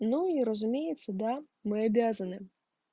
ну и разумеется да мы обязаны